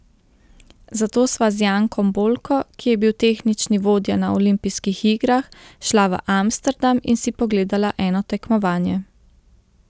Zato sva z Jankom Bolko, ki je bil tehnični vodja na olimpijskih igrah, šla v Amsterdam in si pogledala eno tekmovanje.